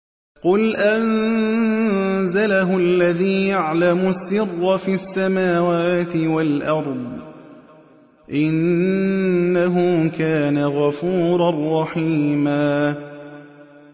قُلْ أَنزَلَهُ الَّذِي يَعْلَمُ السِّرَّ فِي السَّمَاوَاتِ وَالْأَرْضِ ۚ إِنَّهُ كَانَ غَفُورًا رَّحِيمًا